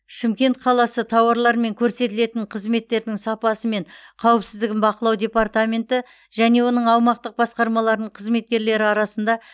шымкент қаласы тауарлар мен көрсетілетін қызметтердің сапасы мен қауіпсіздігін бақылау департаменті және оның аумақтық басқармаларының қызметкерлері арасында